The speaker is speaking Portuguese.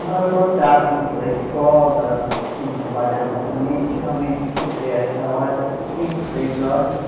Nós voltávamos da escola, quem trabalhava também, geralmente sempre essa hora, cinco, seis horas,